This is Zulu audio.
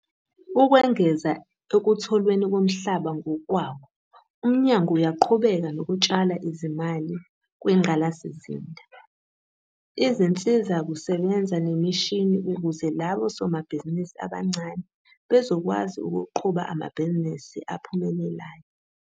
Ukwengeza ekutholweni komhlaba ngokwawo, uMnyango uyaqhubeka nokutshala izimali kwingqalasizinda, izinsizakusebenza nemishini ukuze labo somabhizinisi abancane bezokwazi ukuqhuba amabhizinisi aphumelelayo.